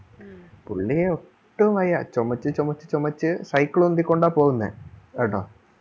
പുള്ളി ഒട്ടും വയ്യ ചൊമച്ചു ചൊമച്ചു ചൊമച്ചു cycle ഉന്തിക്കൊണ്ടാ പോവുന്നെ കേട്ടോ